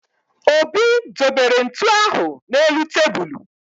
Obi dobere ntu ahụ n'elu tebulu